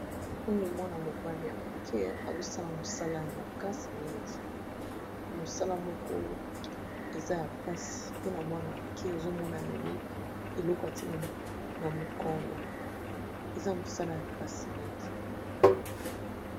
Oyo mwana mobali ya moke azo sala mosala ya makasi mingi, mosala moko eza ya mpasi mpona mwana moke. Ozo mona amemi eloko atie na mokongo, eza mosala ya mpasi mingi.